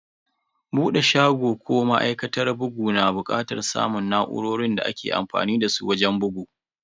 Bude shago ko ma'aikatar bugu na bukatar samun na'urorin da ake amfani dasu wajen bugu.